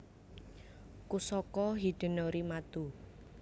Kusaka Hidenori Mato